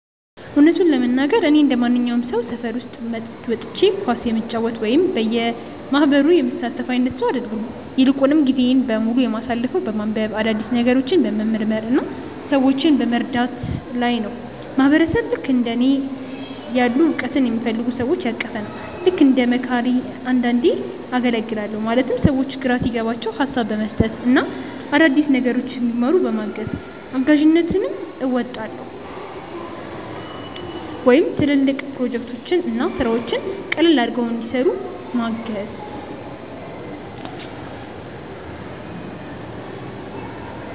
እውነቱን ለመናገር፣ እኔ እንደማንኛውም ሰው ሰፈር ውስጥ ወጥቼ ኳስ የምጫወት ወይም በየማህበሩ የምሳተፍ አይነት ሰው አይደለሁም። ይልቁንም ጊዜዬን በሙሉ የማሳልፈው በማንበብ፣ አዳዲስ ነገሮችን በመመርመር እና ሰዎችን በመርዳት ላይ ነው። ማህበረሰብ ልክእንደ እኔ ያሉ እውቀትን የሚፈልጉ ሰዎችን ያቀፈ ነው። ልክ እንደ መካሪ አንዳንዴ አገልግላለሁ ማለትም ሰዎች ግራ ሲገባቸው ሀሳብ በመስጠት እና አዳዲስ ነገሮችን እንዲማሩ በማገዝ። እጋዥነትም አወጣለሁ ወይም ትልልቅ ፕሮጀክቶችን እና ስራዎችን ቀለል አድርገው እንዲሰሩ ምገዝ።